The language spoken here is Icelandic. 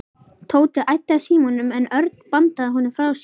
Tóti æddi að símanum en Örn bandaði honum frá sér.